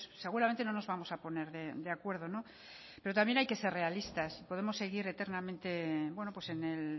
seguramente no nos vamos a poner de acuerdo pero también hay que ser realistas podemos seguir eternamente en el